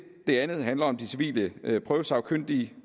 det andet handler om de civile prøvesagkyndige